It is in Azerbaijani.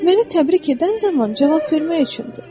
Məni təbrik edən zaman cavab vermək üçündür.